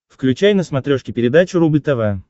включай на смотрешке передачу рубль тв